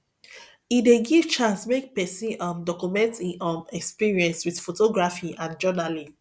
e dey give chance make pesin um document im um experience with photography and journaling